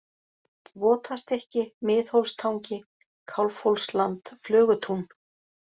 Votastykki, Miðhólstangi, Kálfhólsland, Flögutún